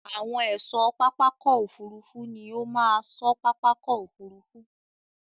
Àwọn ẹ̀ṣọ́ pápákọ̀ òfurufú ní ó máa ṣọ́ pápákọ̀ òfurufú.